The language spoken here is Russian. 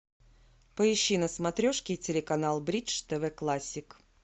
поищи на смотрешке телеканал бридж тв классик